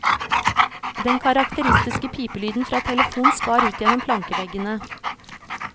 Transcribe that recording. Den karakteristiske pipelyden fra telefonen skar ut gjennom plankeveggene.